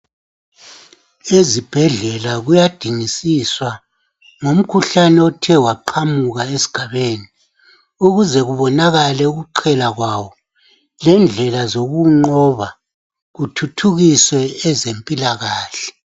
Ezibhedlela kuyadingisiswa ngomkhuhlane othe waqhamuka esgabeni ukuze kubonakala ukuqhela kwawo lendlela zokuwunqoba kuthuthukiswe ezempilakahle